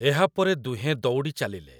ଏହାପରେ ଦୁହେଁଁ ଦୌଡ଼ି ଚାଲିଲେ ।